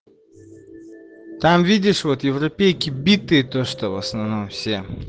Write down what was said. там видишь вот европейки битые то что в основном все